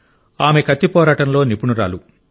ఆమె కత్తి పోరాటంలో నిపుణురాలు